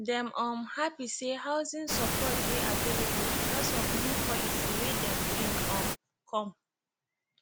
dem um happy say housing support dey available bcoz of new policy wey dem bring um come